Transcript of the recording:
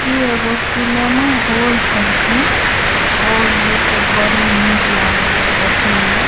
इ एगो cinema hall छलखीन हॉल जैसे बड़ी निक लागइय देखई में।